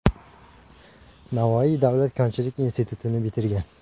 Navoiy davlat konchilik institutini bitirgan.